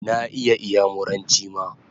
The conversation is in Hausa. Na iya iyamuranchi ma